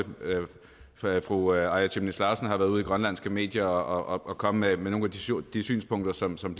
jeg også at fru aaja chemnitz larsen har været ude i grønlandske medier og komme med nogle af de synspunkter som som